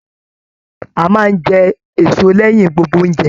A máa n jẹ èso lẹyìn gbogbo ounjẹ.